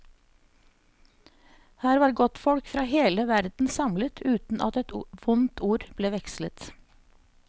Her var godtfolk fra hele verden samlet uten at et vondt ord ble vekslet.